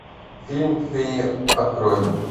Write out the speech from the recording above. фильм феи открой